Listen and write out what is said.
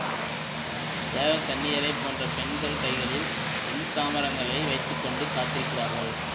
தேவ கன்னியரைப் போன்ற பெண்கள் கைகளில் வெண்சாமரங்களை வைத்து கொண்டு காத்திருக்கிறார்கள்